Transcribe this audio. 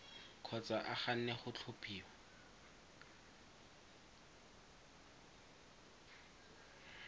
kgotsa a ganne go tlhophiwa